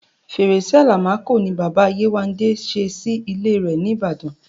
Fẹrẹ́ṣẹ́ Àlámakọ̀ ni Bàbá Yéwándé sẹ́ sí ilẹ̀ rẹ̀ ní Ìbàdàn.